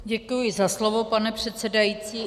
Děkuji za slovo, pane předsedající.